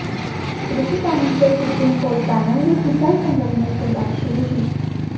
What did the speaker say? कृषि कानून पर सुप्रीम कोर्ट पैनल ने किसान संगठनों से बात शुरू की